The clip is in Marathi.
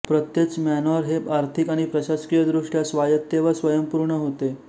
प्रत्येच मॅनॅार हे आर्थिक आणि प्रशासकीय दृष्ट्या स्वायत्त व स्वयंपूर्ण होते